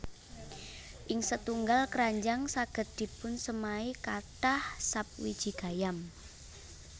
Ing setunggal kranjang saged dipunsemai kathah sap wiji gayam